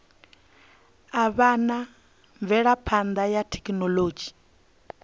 avhanya ha mvelaphana ya thekhinolodzhi